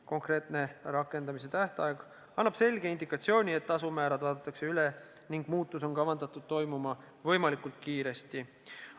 Konkreetne rakendamise tähtaeg annab selge indikatsiooni, et tasumäärad vaadatakse üle, ning muutus on kavandatud toimuma võimalikult kiiresti.